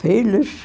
Filhos?